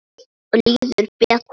Líður betur.